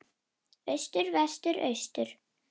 Austur Vestur Austur